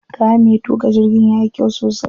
Kayan me tuƙa jirgin yayi kyau sosai.